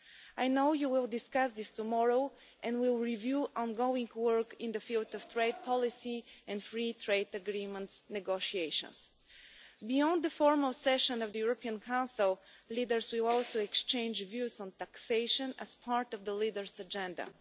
I know you will discuss this tomorrow and will review ongoing work in the field of trade policy and free trade agreement negotiations. Beyond the formal session of the European Council, leaders will also exchange views on taxation as part of the Leaders' Agenda.